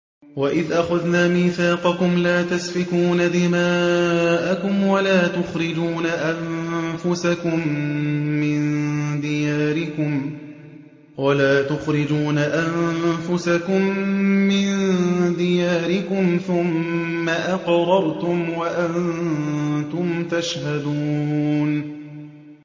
وَإِذْ أَخَذْنَا مِيثَاقَكُمْ لَا تَسْفِكُونَ دِمَاءَكُمْ وَلَا تُخْرِجُونَ أَنفُسَكُم مِّن دِيَارِكُمْ ثُمَّ أَقْرَرْتُمْ وَأَنتُمْ تَشْهَدُونَ